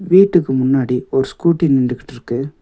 வீட்டுக்கு முன்னாடி ஒரு ஸ்கூட்டி நின்டுகிட்டு இருக்கு.